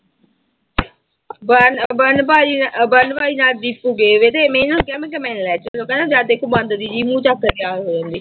Burn ਬਰਨ ਭਾਈ ਬਰਨ ਭਾਈ ਨਾਲ ਦੀਪੂ ਗਏ ਹੋਏ ਥੇ ਮੈਂ ਇਹਨਾਂ ਨੂੰ ਕਿਹਾ ਮੈਂ ਕਿਹਾ ਮੈਨੂੰ ਲੈ ਚੱਲੋ ਕਹਿੰਦਾ ਜਦ ਦੇਖੋ ਬਾਂਦਰੀ ਜਿਹੀ ਮੂੰਹ ਚੁੱਕ ਕੇ ਤਿਆਰ ਹੋ ਜਾਂਦੀ।